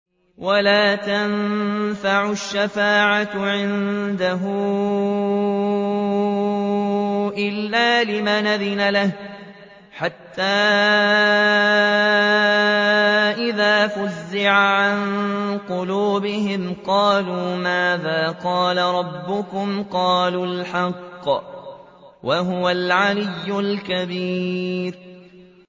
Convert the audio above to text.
وَلَا تَنفَعُ الشَّفَاعَةُ عِندَهُ إِلَّا لِمَنْ أَذِنَ لَهُ ۚ حَتَّىٰ إِذَا فُزِّعَ عَن قُلُوبِهِمْ قَالُوا مَاذَا قَالَ رَبُّكُمْ ۖ قَالُوا الْحَقَّ ۖ وَهُوَ الْعَلِيُّ الْكَبِيرُ